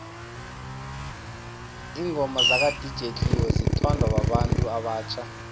ingoma zaka dj cleo zithanwa babantu abatjha